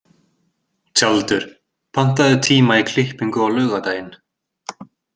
Tjaldur, pantaðu tíma í klippingu á laugardaginn.